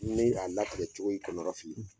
Ni a latigɛ cogo y'i kɔnɔ lafili